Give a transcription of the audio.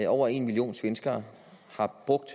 over en million svenskere har brugt